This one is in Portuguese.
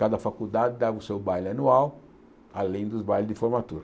Cada faculdade dava o seu baile anual, além dos bailes de formatura.